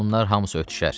Bunlar hamısı ötüşər.